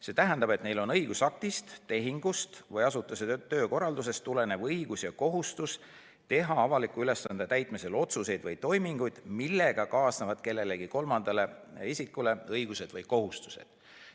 See tähendab, et neil on õigusaktist, tehingust või asutuse töökorraldusest tulenev õigus ja kohustus teha avaliku ülesande täitmisel otsuseid või toiminguid, millega kaasnevad kolmandale isikule õigused või kohustused.